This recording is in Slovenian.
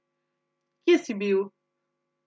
Kje si bil?